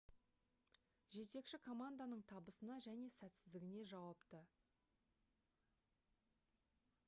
жетекші команданың табысына және сәтсіздігіне жауапты